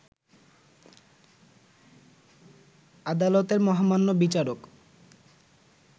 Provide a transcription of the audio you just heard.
আদালতের মহামান্য বিচারক